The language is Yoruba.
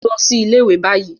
Lọ si ile-iwe bayi